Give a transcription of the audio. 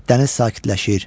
dəniz sakitləşir,